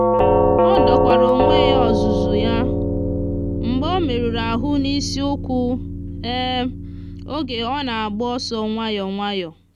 o dokwara onwe ya ọzụzụ ya mgbe o merụrụ ahụ n'isi ụkwụ oge ọ na-agba ọsọ nwayọ nwayọ.